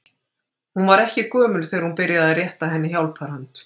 Hún var ekki gömul þegar hún byrjaði að rétta henni hjálparhönd.